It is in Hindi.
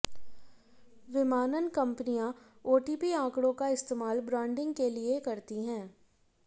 विमानन कंपनियां ओटीपी आंकड़ों का इस्तेमाल ब्रांडिंग के लिए करती है